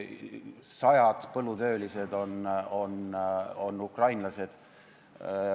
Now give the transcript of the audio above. Sajad põllutöölised on ukrainlased.